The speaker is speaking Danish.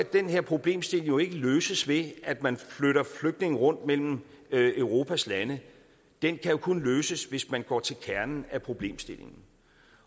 den her problemstilling jo ikke løses ved at man flytter flygtninge rundt mellem europas lande den kan kun løses hvis man går til kernen af problemstillingen